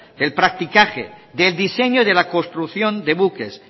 el practicaje del diseño de la construcción de buques